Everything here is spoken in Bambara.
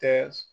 Tɛ